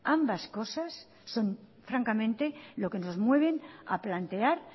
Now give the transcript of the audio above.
ambas cosas son francamente lo que nos mueven a plantear